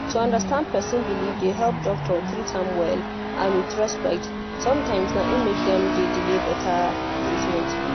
to understand person believe dey help doctor treat am well and with respect sometimes na im make dem de delay better treatment